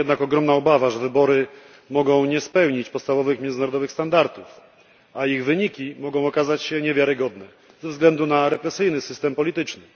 Istnieje jednak ogromna obawa, że wybory mogą nie spełnić podstawowych międzynarodowych standardów, a ich wyniki mogą okazać się niewiarygodne ze względu na represyjny system polityczny.